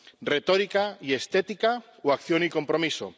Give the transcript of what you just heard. Retórica y estética o acción y compromiso.